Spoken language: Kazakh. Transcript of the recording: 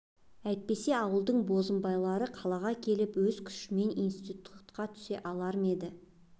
әйтпесе ауылдың бозымбайлары қалаға келіп өз күштерімен институтқа түсе алар ма еді